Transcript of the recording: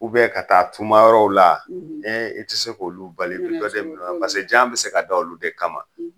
ka taa tuma yɔrɔw la Ee i ti se k'olu bali , i bi dɔ de minɛ u la .Paseke jan bi se ka da olu de kama